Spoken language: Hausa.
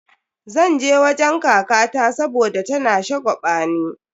Zan je wajen kakata saboda tana shagwabani.